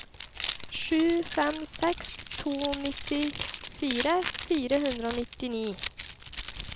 sju fem seks to nittifire fire hundre og nittini